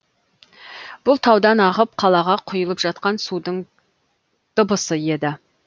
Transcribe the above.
бұл таудан ағып қалаға құйылып жатқан судың дабысы еді